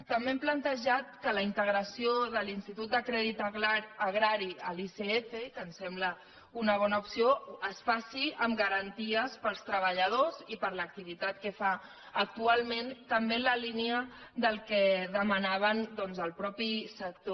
també hem plantejat que la integració de l’institut de crèdit agrari a l’icf que ens sembla una bona opció es faci amb garanties per als treballadors i per a l’activitat que fa actualment també en la línia del que demanava doncs el mateix sector